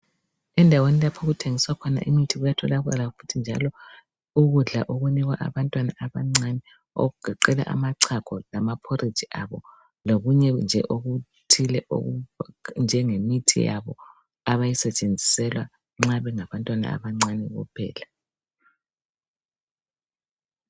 Endaweni lapha. okuthengiswa khona imithi kuyatholakala futhi njalo ukudla okunikwa abantwana abancane. Okugoqela amachago lamaphoriji abo..Lokunye nje okuthile, okunjengemithi yabo. Abayisetshenziselwa nxa bengabantwana abancane kuphela.